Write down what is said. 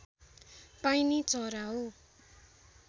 पाइने चरा हो